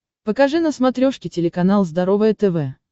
покажи на смотрешке телеканал здоровое тв